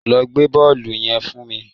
Lọ gbé bọ́ọ̀lù yẹn fún mi